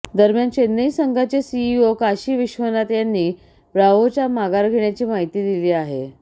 दरम्यान चेन्नई संघाचे सीईओ काशी विश्वनाथ यांनी ब्राव्होच्या माघार घेण्याची माहिती दिली आहे